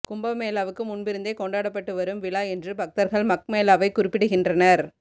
கும்பமேளாவுக்கு முன்பிருந்தே கொண்டாடப்பட்டு வரும் விழா என்று பக்தர்கள் மக் மேளாவைக் குறிப்பிடுகின்றனர்